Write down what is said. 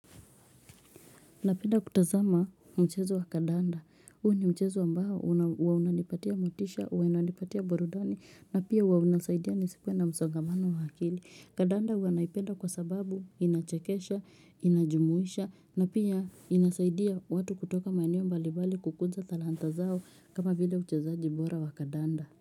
Napenda kutazama mchezo wa kadanda. Huu ni mchezo ambao huwa unanipatia motisha, unanipatia burudani, na pia huwa unasaidia nisikuwe na msongamano wa akili. Kadanda huwa naipenda kwa sababu inachekesha, inajumuisha, na pia inasaidia watu kutoka maeneo mbalibali kukuza talanta zao kama vile uchezaji bora wa kadanda.